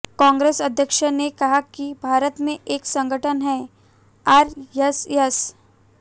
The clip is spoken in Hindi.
कांग्रेस अध्यक्ष ने कहा कि भारत में एक संगठन है आरएसएस